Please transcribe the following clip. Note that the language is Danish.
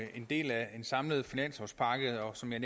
en del af en samlet finanslovspakke og som jeg